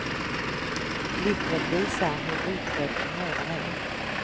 Glittret visar hur utbredd tumören är.